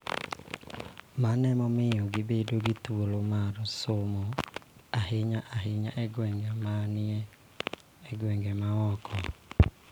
Mano miyo gibedo gi thuolo mar somo, ahinya ahinya e gwenge ma ni e gwenge ma oko.